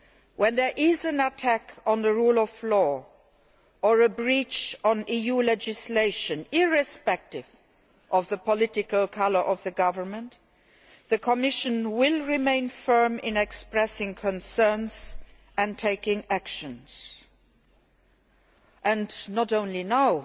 When there is an attack on the rule of law or a breach of EU legislation, irrespective of the political colour of the government, the Commission will remain firm in expressing concerns and taking actions, and this does not apply only now